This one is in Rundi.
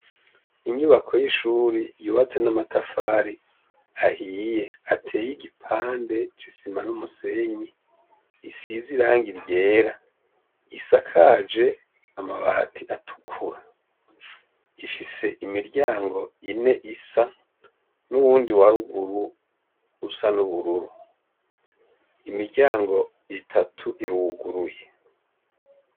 Inyubako y'ishuri yubatse n'amatafari ahiye ateye igipande c'isima n'umusenyi, isize iranga iryera isakaje amabati atukura , ifise imiryango ine isa n'uwundi waruguru usa n'ubururu, imiryango itatu iruguruye.